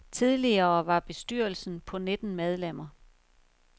Tidligere var bestyrelsen på nitten medlemmer.